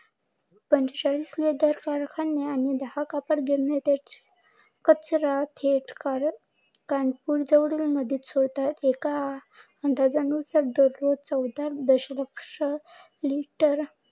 पांचे चाळीस कारखाने आणि दहा कापड गिरण्या कचरा थेट कानपूर जवळील नदीत सोडतात. एका नुसार चौदा दश लक्ष लिटर